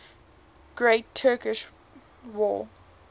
great turkish war